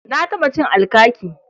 Na taɓa cin alkaki.